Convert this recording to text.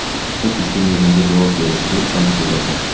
Qiz ushbu mezonga javob berishiga ishonch bildirdi.